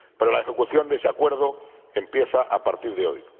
Pero la ejecución de ese acuerdo empieza a partir de hoy.